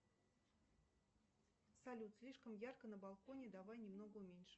салют слишком ярко на балконе давай немного уменьшим